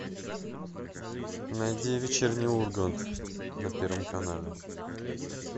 найди вечерний ургант на первом канале